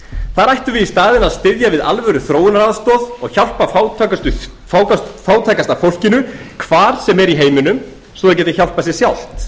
þar ættum við í staðinn að styðja við alvöruþróunaraðstoð og hjálpa fátækasta fólkinu hvar sem er í heiminum svo að það geti hjálpað sér sjálft